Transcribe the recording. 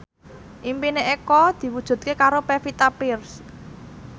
impine Eko diwujudke karo Pevita Pearce